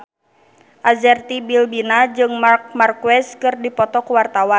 Arzetti Bilbina jeung Marc Marquez keur dipoto ku wartawan